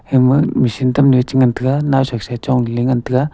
hama machine tam ni cha ngan taga nao sa sa chong cha ngan taga.